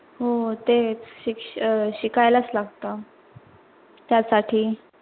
हो, तेच शिक शिकायलाच लागत त्यासाठी